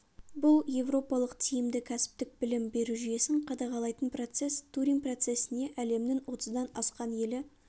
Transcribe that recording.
бұл еуропалық тиімді кәсіптік білім беру жүйесін қадағалайтын процесс турин процесіне әлемнің отыздан асқан елі